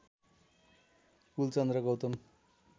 Kulchandra Gautam